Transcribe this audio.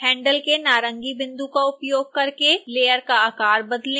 handle के नारंगी बिंदु का उपयोग करके लेयर का आकार बदलें